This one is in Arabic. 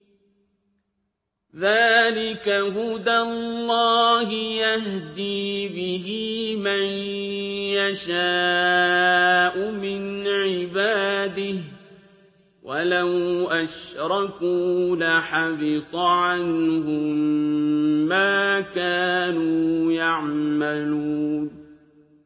ذَٰلِكَ هُدَى اللَّهِ يَهْدِي بِهِ مَن يَشَاءُ مِنْ عِبَادِهِ ۚ وَلَوْ أَشْرَكُوا لَحَبِطَ عَنْهُم مَّا كَانُوا يَعْمَلُونَ